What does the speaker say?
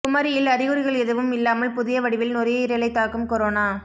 குமரியில் அறிகுறிகள் எதுவும் இல்லாமல் புதிய வடிவில் நுரையீரலை தாக்கும் கொரோனா